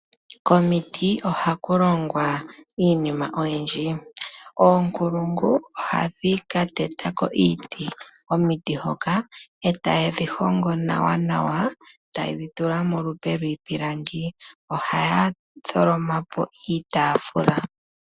Komiti oha ku longwa iinima oyindji. Oonkulungu ohadhi ka teta ko iiti komiti hoka e ta yedhi hongo nawa yedhi tule molupo lwiipilangi. Ohaa tholomapo iitaafula.